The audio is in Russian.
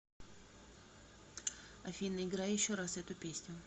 афина играй еще раз эту песню